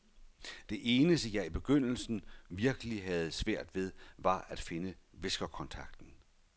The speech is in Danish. Det eneste, jeg i begyndelsen virkelig havde svært ved, var at finde viskerkontakten.